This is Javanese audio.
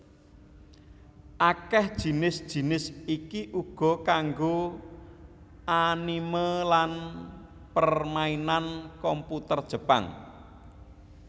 Akèh jinis jinis iki uga kanggo anime lan permainan komputer Jepang